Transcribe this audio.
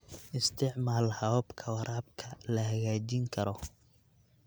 Isticmaal hababka waraabka la hagaajin karo.